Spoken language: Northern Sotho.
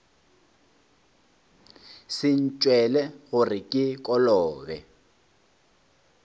se ntšwele gore ke kolobe